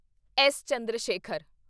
S. Chandrashekhar